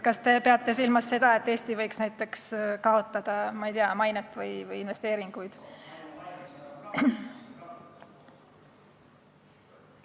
Kas te peate silmas seda, et Eesti võiks näiteks kaotada, ma ei tea, mainet või investeeringuid?